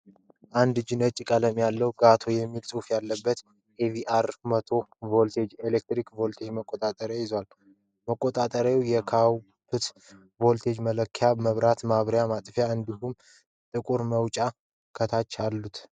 አንድ እጅ ነጭ ቀለም ያለውና GATO የሚል ጽሑፍ ያለበት ኤ.ቪ.አር. (AVR - 1000VA) የኤሌክትሪክ ቮልቴጅ መቆጣጠሪያ ይዟል። መቆጣጠሪያው የአውትፑት ቮልቴጅ መለኪያ፣ መብራት ማብሪያና ማጥፊያ እንዲሁም ጥቁር መውጫዎች ከታች አሉት።